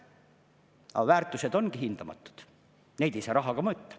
Aga väärtused ongi hindamatud, neid ei saa rahaga mõõta.